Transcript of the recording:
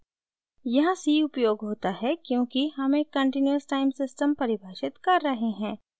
यहाँ c उपयोग होता है क्योंकि हम एक कंटीन्यूअस टाइम सिस्टम परिभाषित कर रहे हैं